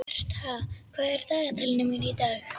Bertha, hvað er í dagatalinu mínu í dag?